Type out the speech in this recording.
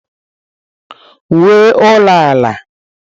Wuo ulo ala.